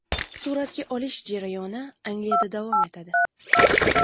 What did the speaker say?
Suratga olish jarayoni Angliyada davom etadi.